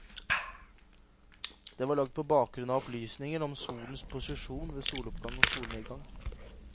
Den var lagd på bakgrunn av opplysninger om solens posisjon ved soloppgang og solnedgang.